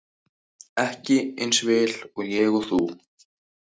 Ekki eins vel og ég og þú.